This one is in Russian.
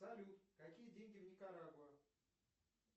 салют какие деньги в никарагуа